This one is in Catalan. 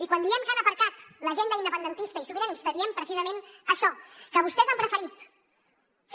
i quan diem que han aparcat l’agenda independentista i sobiranista diem precisament això que vostès han preferit